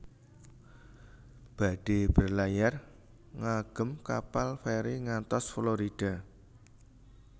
Badhe berlayar ngagem kapal feri ngantos Florida